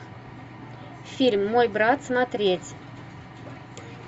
фильм мой брат смотреть